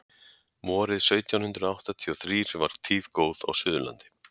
vorið sautján hundrað áttatíu og þrír var tíð góð á suðurlandi